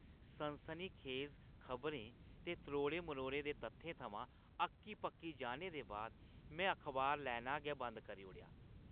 सनसनीखेज खबरें ते त्रोड़े-मरोड़े दे तत्थें थमां अक्की-पक्की जाने बाद में अखबार लैना गै बंद करी ओड़ी ।